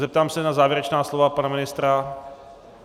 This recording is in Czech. Zeptám se na závěrečná slova pana ministra.